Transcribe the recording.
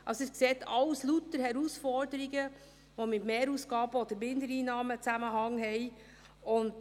Sie sehen: alles lauter Herausforderungen, die mit Mehrausgaben oder Mindereinnahmen einen Zusammenhang haben.